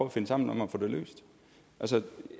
at finde sammen om at få det løst